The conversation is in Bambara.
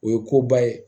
O ye koba ye